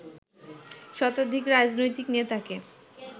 শতাধিক রাজনৈতিক নেতাকে